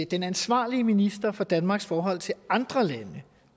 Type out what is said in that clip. den ansvarlige minister for danmarks forhold til andre lande